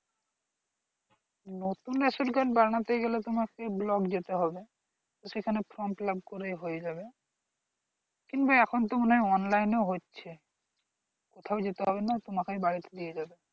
নতুন ration card বানাতে গেলে তোমাকে block যেতে হবে সেখানে from fillup করে হয়ে যাবে কিংবা এখন তো মনে হয় online ও হচ্ছে কোথায় যেতে হবে না তোমাকেই বাড়ি তে দিয়ে যাবে